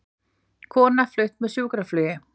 Kona flutt með sjúkraflugi